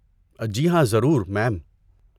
جی ہاں، ضرور، میم۔